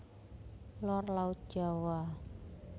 Lor Laut Jawa